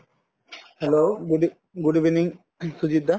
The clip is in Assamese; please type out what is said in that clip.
hello, good eve good evening Sujit da